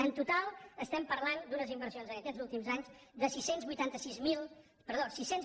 en total parlem d’unes inversions en aquests últims anys de sis cents i vuitanta sis mil cinc cents